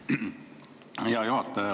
Hea juhataja!